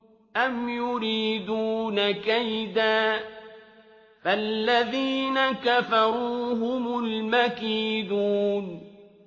أَمْ يُرِيدُونَ كَيْدًا ۖ فَالَّذِينَ كَفَرُوا هُمُ الْمَكِيدُونَ